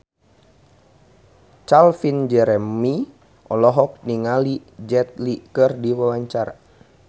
Calvin Jeremy olohok ningali Jet Li keur diwawancara